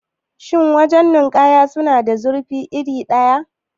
Shin wajan nikaya suna da zurfi iri ɗaya?